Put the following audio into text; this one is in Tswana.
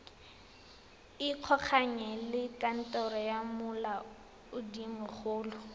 ikgolaganye le kantoro ya molaodimogolo